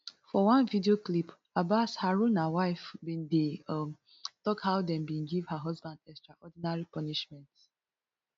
for one video clip abbas haruna wife bin dey um tok how dem bin give her husband extraordinary punishment